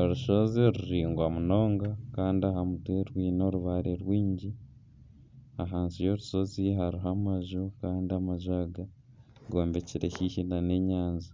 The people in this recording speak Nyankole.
Orushozi ruringwa munonga kandi aha mutwe rwiine orubaare rwingi, ahansi y'orushozi hariho amaju kandi amaju aga gombekire haihi n'enyanja.